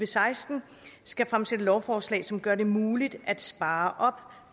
seksten skal fremsætte lovforslag som gør det muligt at spare op